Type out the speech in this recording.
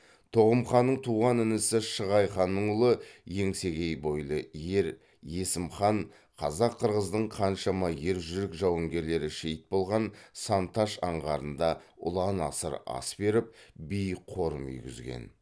тоғым ханның туған інісі шығай ханның ұлы еңсегей бойлы ер есім хан қазақ қырғыздың қаншама ержүрек жауынгерлері шейіт болған сан таш аңғарында ұлан асыр ас беріп биік қорым үйгізген